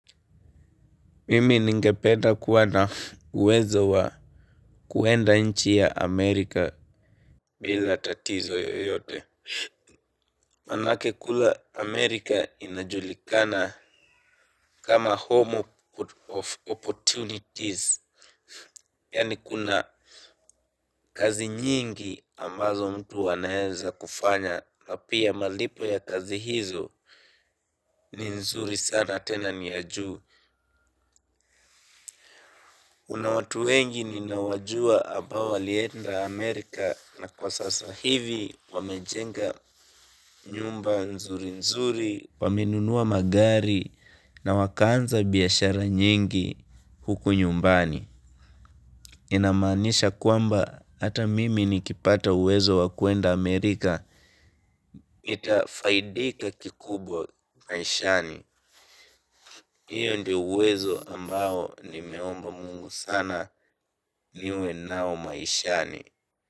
Mimi ningependa kuwa na uwezo wa kuenda nchi ya Amerika bila tatizo yoyote. Manake kule Amerika inajulikana kama home of opportunities. Yani kuna kazi nyingi ambazo mtu anaeza kufanya. Na pia malipo ya kazi hizo ni nzuri sana tena ni ya juu. Kuna watu wengi ni nawajua ambao walienda Amerika na kwa sasa hivi wamejenga nyumba nzuri nzuri, wamenunua magari na wakaanza biashara nyingi huku nyumbani. Inamaanisha kwamba hata mimi nikipata uwezo wa kuenda Amerika nitafaidika kikubwa maishani. Hiyo ndiyo uwezo ambao nimeomba mungu sana niwe nao maishani.